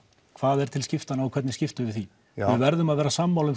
hvað er til skiptanna og hvernig við skiptum því við verðum að vera sammála